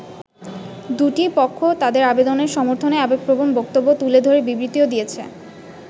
দু’টি পক্ষ তাদের আবেদনের সমর্থনে আবেগপ্রবণ বক্তব্য তুলে ধরে বিবৃতিও দিয়েছে।